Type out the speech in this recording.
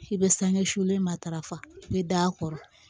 I bɛ sange fule matarafa i bɛ d'a kɔrɔ